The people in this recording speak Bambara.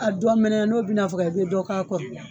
A dɔ mɛnɛ n'o bɛna faga i bɛ dɔ k'a kɔrɔ.